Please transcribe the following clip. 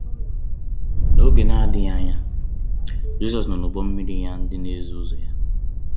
N’oge um na-adịghị anya, um Jizọs nọ n’ụgbọ mmiri ya na ndị na-eso ụzọ ya.